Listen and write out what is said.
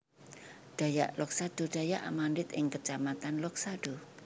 Dayak Loksado Dayak Amandit ing kecamatan Loksado